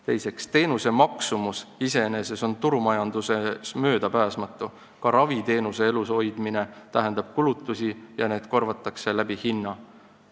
Teiseks, teenuse maksumus iseenesest on turumajanduses möödapääsmatu, ka raviteenuse elus hoidmine tähendab kulutusi ja need korvatakse hinna kaudu.